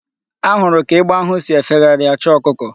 Ahụrụ ka egbe ahụ si efegharị achọ ọkụkọ.